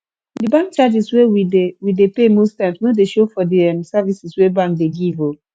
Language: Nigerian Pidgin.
di bank charges wey we dey we dey pay most times no dey show for di um services wey bank dey give um